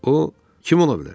O kim ola bilər?